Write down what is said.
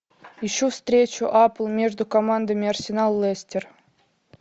ищу встречу апл между командами арсенал лестер